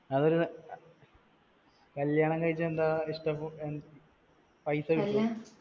അതൊരു കല്യാണം കഴിച്ചാൽ എന്താ പൈസ കിട്ടുവോ